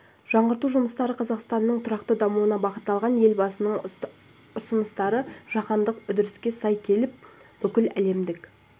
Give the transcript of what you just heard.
жаңғырту жұмыстары қазақстанның тұрақты дамуына бағытталған ал елбасының ұсыныстары жаһандық үрдіске сай келіп бүкіл әлемдік